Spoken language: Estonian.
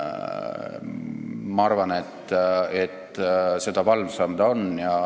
Ma arvan, et seda valvsam ta on.